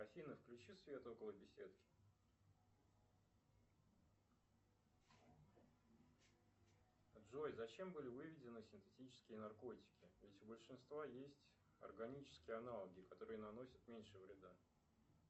афина включи свет около беседки джой зачем были выведены синтетические наркотики ведь у большинства есть органические аналоги которые наносят меньше вреда